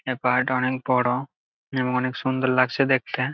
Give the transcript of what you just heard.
এই পাহাড়টা অনেক বড় এবং অনেক সুন্দর লাগছে দেখতে।